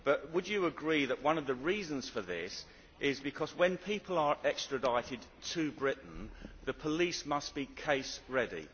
But would you agree that one of the reasons for this is because, when people are extradited to Britain, the police must be case ready.